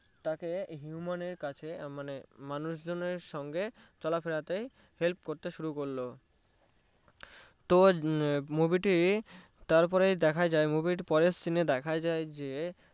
তাকে Human এর কাছে মানে মানুষজনের সাথে চলাফেরাতে help করতে শুরু করলো তো movie টি তার পরে দেখা যায় movie টির পরের scene এ দেখা যায় যে